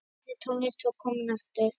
Lifandi tónlist var komin aftur.